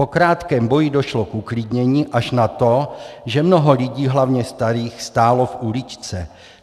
Po krátkém boji došlo k uklidnění až na to, že mnoho lidí, hlavně starých, stálo v uličce.